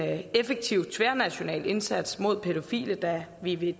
effektiv tværnational indsats mod pædofile da vi ved